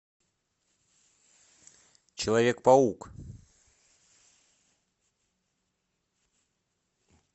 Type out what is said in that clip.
человек паук